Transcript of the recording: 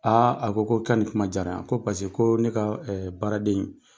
a ko ko i ka ni kuma diyara n ye, ko pasek'o ne ka baaraden in